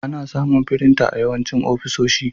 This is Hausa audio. Ana samun firinta a yawancin ofisoshi.